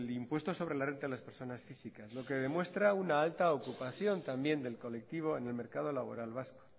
impuesto sobre la renta de las personas físicas lo que demuestra una alta ocupación también del colectivo en el mercado laboral vasco